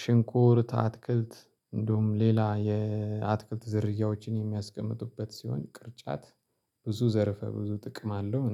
ሽንኩርት አትክልት እንዲሁም ሌላ የአትክልት ዝርያዎችን የሚያስቀምጡበት ሲሆን ቅርጫት ብዙ ዘርፈ ብዙ ጥቅም አለው